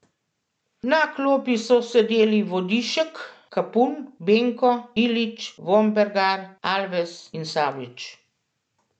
Na klopi so sedeli Vodišek, Kapun, Benko, Ilić, Vombergar, Alves in Savić.